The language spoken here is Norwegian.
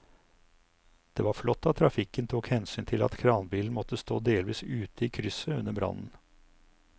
Det var flott at trafikken tok hensyn til at kranbilen måtte stå delvis ute i krysset under brannen.